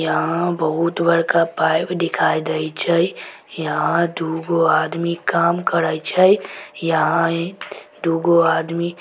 यहां बहुत बड़का पाइप दिखा दे छै। यहां दू गो आदमी काम करे छै ई यहां दू गो आदमी ----